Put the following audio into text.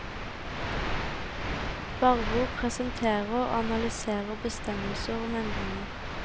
Barbo presenterer og analyserer bestemmelser om endringer.